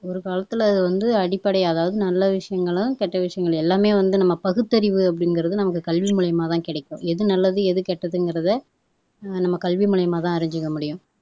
ஒரு காலத்துல வந்து அடிப்படை அதாவது நல்ல விசயங்களும், கெட்ட விஷயங்கள் எல்லாமே வந்து நம்ம பகுத்தறிவு அப்படிங்கிறது நமக்கு கல்வி மூலியமாதான் கிடைக்கும் எது நல்லது எதுகெட்டதுங்கிறதை நம்ம கல்வி மூலியமாதான் அறிஞ்சுக்க முடியும்